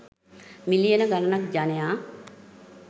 මිලියන ගණනක් ජනයා